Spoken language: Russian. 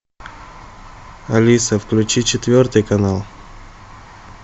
алиса включи четвертый канал